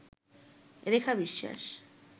রেখা বিশ্বাস